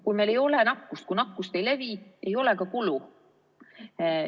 Kui meil ei ole nakkust, kui nakkus ei levi, ei ole ka kulu.